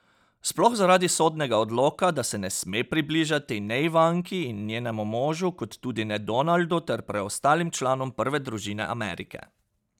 Sploh zaradi sodnega odloka, da se ne sme približati ne Ivanki in njenemu možu kot tudi ne Donaldu ter preostalim članom prve družine Amerike.